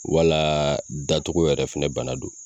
Wala da cogo yɛrɛ fɛnɛ bana don